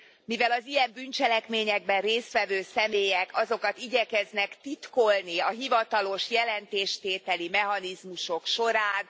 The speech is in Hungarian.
mivel az ilyen bűncselekményekben részt vevő személyek azokat igyekeznek titkolni a hivatalos jelentéstételi mechanizmusok során.